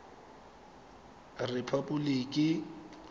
repaboliki